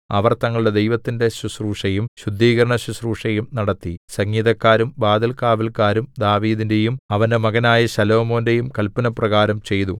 അവർ തങ്ങളുടെ ദൈവത്തിന്റെ ശുശ്രൂഷയും ശുദ്ധീകരണശുശ്രൂഷയും നടത്തി സംഗീതക്കാരും വാതിൽകാവല്ക്കാരും ദാവീദിന്റെയും അവന്റെ മകനായ ശലോമോന്റെയും കല്പനപ്രകാരം ചെയ്തു